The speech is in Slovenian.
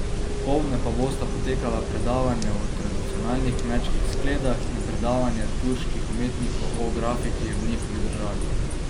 Popoldne pa bosta potekala predavanje o tradicionalnih kmečkih skledah in predavanje turških umetnikov o grafiki v njihovi državi.